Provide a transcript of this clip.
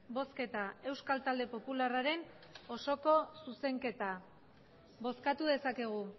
bozketa euskal talde popularraren osoko zuzenketa bozkatu dezakegu